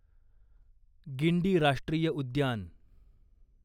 गिंडी राष्ट्रीय उद्यान